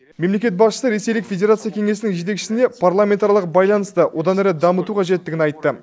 мемлекет басшысы ресейлік федерация кеңесінің жетекшісіне парламентаралық байланысты да одан әрі дамыту қажеттігін айтты